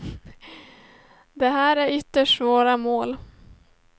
Det här är ytterst svåra mål.